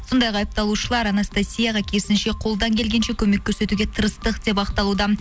сондай ақ айыпталушылар анастасияға керісінше қолдан келгенше көмек көрсетуге тырыстық деп ақталуда